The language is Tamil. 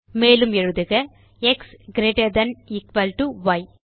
மேலும் எழுதுக x greater than equal to y